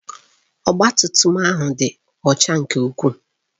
Ọgba tum tum ahụ dị ọcha nke ukwuu.